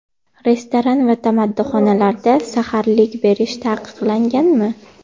Restoran va tamaddixonalarda saharlik berish taqiqlanganmi?